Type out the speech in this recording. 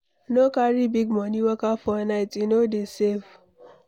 No carry big money waka for night, e no dey safe